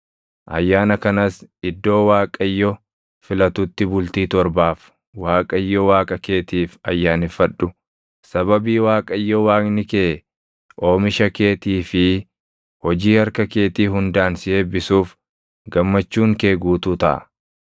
Ayyaana kanas iddoo Waaqayyo filatutti bultii torbaaf Waaqayyo Waaqa keetiif ayyaaneffadhu. Sababii Waaqayyo Waaqni kee oomisha keetii fi hojii harka keetii hundaan si eebbisuuf gammachuun kee guutuu taʼa.